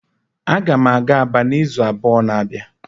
Aga m aga Aba n'izu abụọ na-abịa